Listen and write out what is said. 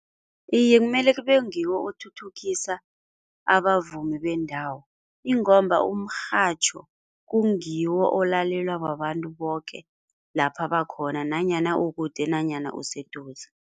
Iye kumele kube ngiwo othuthukisa abavumi bendawo ingomba umrhatjho kungiwo olalelwa babantu boke lapha bakhona nanyana ukude nanyana useduze.